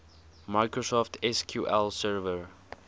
microsoft sql server